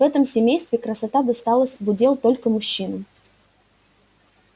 в этом семействе красота досталась в удел только мужчинам